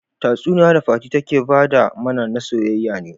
Tatsuniya da fati take fada mana, na soyayya ne.